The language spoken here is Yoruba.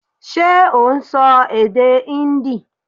Ṣé ò n sọ èdè Híndì